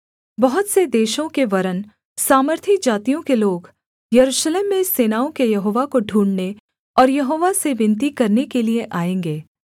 बहुत से देशों के वरन् सामर्थी जातियों के लोग यरूशलेम में सेनाओं के यहोवा को ढूँढ़ने और यहोवा से विनती करने के लिये आएँगे